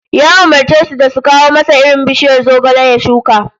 Ya umurce su da su kawo masa irin bishiyar zogale ya shuka